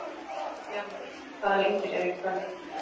Bjarmar, hvaða leikir eru í kvöld?